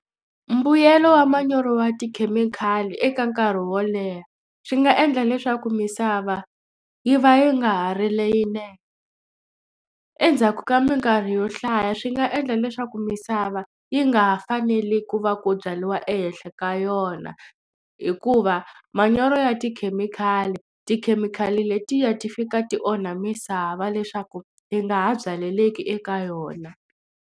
Mbuyelo wa manyoro ya tikhemikhali eka nkarhi wo leha swi nga endla leswaku misava yi va yi nga ha ri leyinene endzhaku ka mikarhi yo hlaya swi nga endla leswaku misava yi nga ha fanele ku va ku byariwa ehenhla ka yona hikuva manyoro ya tikhemikhali tikhemikhali letiya ti fika ti onha misava leswaku yi nga ha byaleleki eka yona.